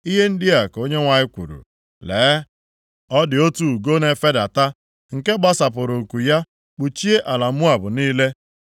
Ihe ndị a ka Onyenwe anyị kwuru, “Lee, ọ dị otu ugo na-efedata, nke gbasapụrụ nku ya kpuchie ala Moab niile.